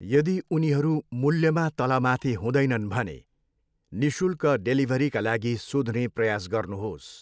यदी उनीहरू मूल्यमा तलमाथि हुँदैनन् भने निःशुल्क डेलिभरीका लागि सोध्ने प्रयास गर्नुहोस्।